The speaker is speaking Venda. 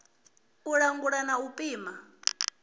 u langula na u pima